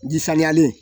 Ji saniyalen